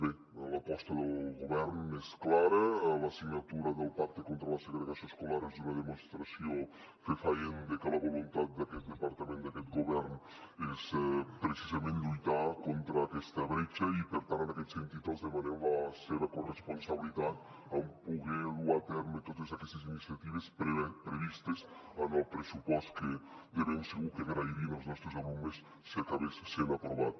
bé l’aposta del govern és clara la signatura del pacte contra la segregació escolar és una demostració fefaent de que la voluntat d’aquest departament d’aquest govern és precisament lluitar contra aquesta bretxa i per tant en aquest sentit els demanem la seva corresponsabilitat en poder dur a terme totes aquestes iniciatives previstes en el pressupost que de ben segur que agrairien els nostres alumnes si acabés sent aprovat